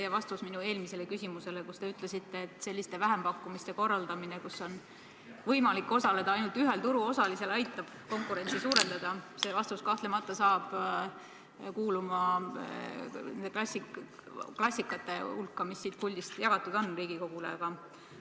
Teie vastus minu eelmisele küsimusele, et selliste vähempakkumiste korraldamine, kus on võimalik osaleda ainult ühel turuosalisel, aitab konkurentsi suurendada, hakkab kahtlemata kuuluma klassika hulka, mida siit puldist Riigikogule jagatud on.